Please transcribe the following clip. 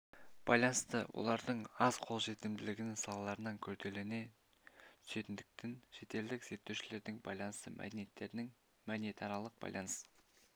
байланысты олардың аз қолжетімділігінің салдарынан күрделене түсетіндіктен шетелдік зерттеушілердің байланысушы мәдениеттердің мәдениетаралық байланыс